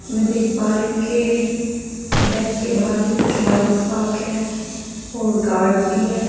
मैं देख पा रही हूं के बैंक के बाहर के कुछ बाइक पार्क है और गार्ड भी है।